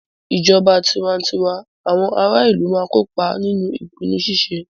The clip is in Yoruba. Ni ijọba tiwantiwa, awọn ara ilu ma n kopa ninu ipinnu ṣiṣe